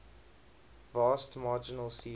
vast marginal seas